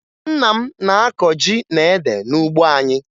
Nna m na-akọ ji na ede n'ugbo anyị